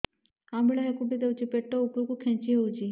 ଅମ୍ବିଳା ହେକୁଟୀ ହେଉଛି ପେଟ ଉପରକୁ ଖେଞ୍ଚି ହଉଚି